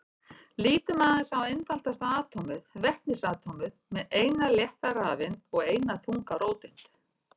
Lítum aðeins á einfaldasta atómið, vetnisatómið með eina létta rafeind og eina þunga róteind.